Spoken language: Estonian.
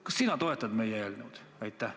Kas sina toetad meie eelnõu?